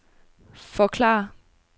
forklare